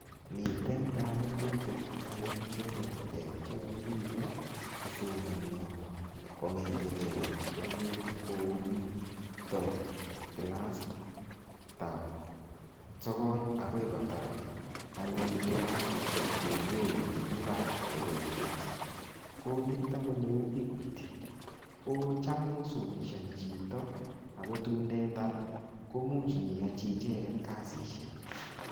Miten kanututik anyun cheterter che yoe biiko kosomanio kongetegei anyun komito kilasitab sogol agoi kotar anyun agoi kotar anyun kilasisiek chun yoen chemi barak chebo university. Ko nito ko neu Equity. Ko cham kosomeshani chito ago tun ndetar komuch inyeyochi icheget kasisiek.